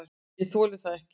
"""Ég þoli það ekki,"""